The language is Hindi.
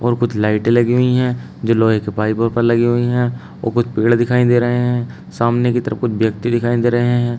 और कुछ लाइटें लगी हुई हैं जो लोहे के पाइपों पर लगी हुई हैं व कुछ पेड़ दिखाई दे रहे हैं सामने की तरफ कुछ व्यक्ति दिखाई दे रहे हैं।